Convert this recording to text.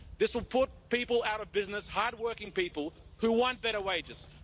This will put people out of business hard working people who want better wages.